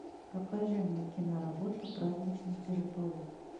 покажи мне киноработу праздничный переполох